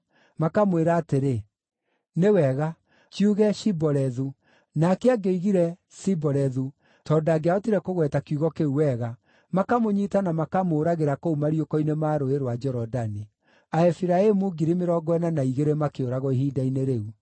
makamwĩra atĩrĩ, “Nĩ wega, kiuge, ‘Shibolethu’.” Nake angĩoigire, “Sibolethu,” tondũ ndangĩahotire kũgweta kiugo kĩu wega, makamũnyiita na makamũũragĩra kũu mariũko-inĩ ma Rũũĩ rwa Jorodani. Aefiraimu 42,000 makĩũragwo ihinda-inĩ rĩu.